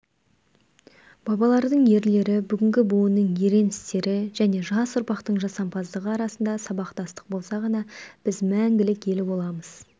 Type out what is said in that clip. бабалардың ерлігі бүгінгі буынның ерен істері және жас ұрпақтың жасампаздығы арасында сабақтастық болса ғана біз мәңгілік ел боламыз